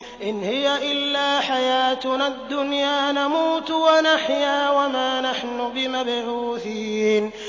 إِنْ هِيَ إِلَّا حَيَاتُنَا الدُّنْيَا نَمُوتُ وَنَحْيَا وَمَا نَحْنُ بِمَبْعُوثِينَ